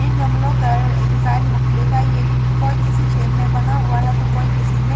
इन गमलों कर डिजाइन मुख्तलिफ है येई कोेई किसी शैप में बना हुआ है तो कोई किसी में--